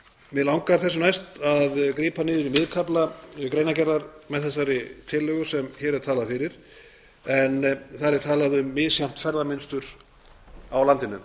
mig langar þessu næst að grípa niður í miðkafla greinargerðar með þessari tillögu sem hér er talað fyrir en þar er talað um misjafnt ferðamynstur á landinu